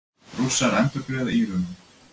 Rússar endurgreiða Írönum